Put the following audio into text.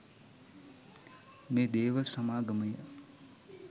මේ දේව සමාගමය